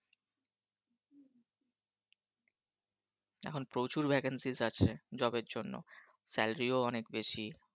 এখন প্রচুর Vacancy আছে Job জন্য Salary অনেক বেশি।